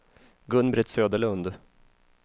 Gun-Britt Söderlund